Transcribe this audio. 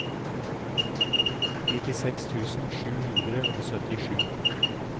nittiseks tusen sju hundre og syttisju